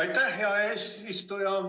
Aitäh, hea eesistuja!